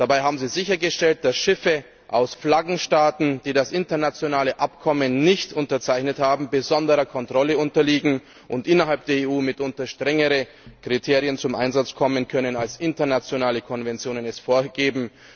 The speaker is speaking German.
Dabei haben sie sichergestellt, dass Schiffe aus Flaggenstaaten, die das internationale Abkommen nicht unterzeichnet haben, besonderer Kontrolle unterliegen und innerhalb der EU mitunter strengere Kriterien zum Einsatz kommen können, als internationale Konventionen es vorgeben.